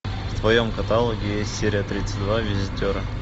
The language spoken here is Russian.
в твоем каталоге есть серия тридцать два визитеры